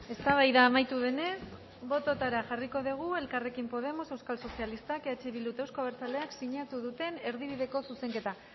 eztabaida amaitu denez botoetara jarriko dugu elkarrekin podemos euskal sozialistak eh bilduk eta euzko abertzaleak sinatu duten erdibideko zuzenketa